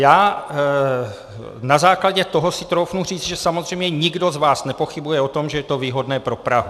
Já na základě toho si troufnu říct, že samozřejmě nikdo z vás nepochybuje o tom, že je to výhodné pro Prahu.